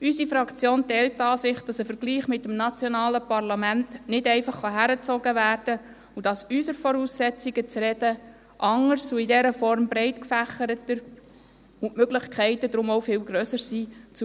Unsere Fraktion teilt die Ansicht, dass ein Vergleich mit dem nationalen Parlament nicht einfach herangezogen werden kann und dass unsere Voraussetzungen, um zu reden, anders und in dieser Form breitgefächerter und die Möglichkeiten, zu Wort zu kommen, deshalb auch viel grösser sind.